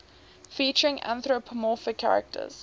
featuring anthropomorphic characters